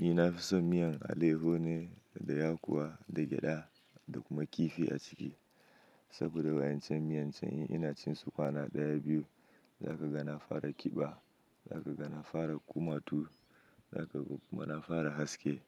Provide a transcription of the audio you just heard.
Ni na fi son miyan alayyahu ne da ya kuwa da gyada da kuma kifi a ciki. Saboda wancan miyan can in ina cin su kwana ɗaya biyu, za ka ga na fara ƙiba, za ka ga na fara kumatu, za ka kuma na fara haske.